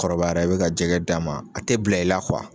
Kɔrɔbayara i bɛ ka jɛgɛ d'a ma a tɛ bila i la